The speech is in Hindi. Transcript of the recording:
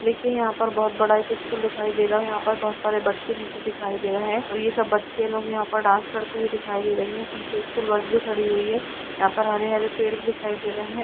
देखिए यहा पर बहुत बड़ा एक स्कूल दिखाई दे रहा है यहा पर बहुत सारे बच्चे भी दिखाई दे रहे हैं और ये सब बच्चे लोग यहा पर डांस करते दिखाई दे रही है पीछे स्कूल बस भी खड़ी हुई है यहा पर हरे-हरे पेड़ भी दिखाई दे रहे हैं।